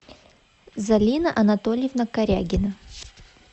залина анатольевна карягина